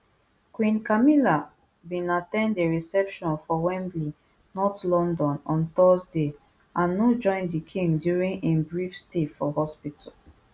queen camilla bin at ten d a reception for wembley north london on thursday and no join di king during im brief stay for hospital